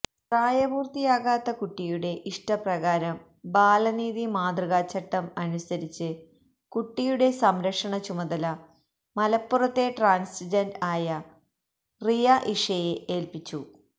പ്രായപൂര്ത്തിയാകാത്ത കുട്ടിയുടെ ഇഷ്ടപ്രകാരം ബാലനീതി മാതൃകാചട്ടം അനുസരിച്ച് കുട്ടിയുടെ സംരക്ഷണ ചുമതല മലപ്പുറത്തെ ട്രാന്സ്ജെന്ററായ റിയ ഇഷയെ ഏല്പിച്ചു